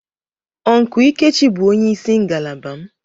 Uncle lkechi bu onye isi ngalaba m.